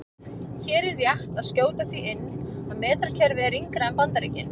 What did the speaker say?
Hér er rétt að skjóta því inn að metrakerfið er yngra en Bandaríkin.